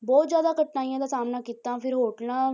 ਬਹੁਤ ਜ਼ਿਆਦਾ ਕਠਿਨਾਈਆਂ ਦਾ ਸਾਹਮਣਾ ਕੀਤਾ ਫਿਰ ਹੋਟਲਾਂ